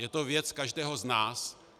Je to věc každého z nás.